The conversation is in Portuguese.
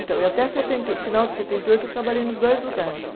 Então e até setenta e, o final de setenta e oito eu trabalhei nos dois lugares.